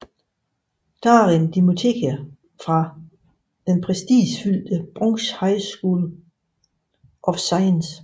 Darin dimitterede fra den prestigefyldte Bronx High School of Science